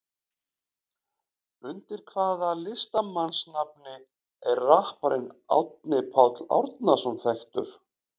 Undir hvaða listamannsnafni er rapparinn Árni Páll Árnason þekktur?